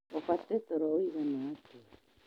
Ubate toro wũigana atĩa?